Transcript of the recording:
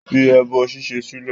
Fi ẹbọ ṣíṣe sílẹ̀!